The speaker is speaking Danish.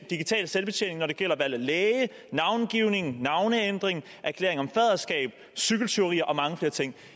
digital selvbetjening når det gælder valg af læge navngivning navneændring erklæring om faderskab cykeltyverier og mange flere ting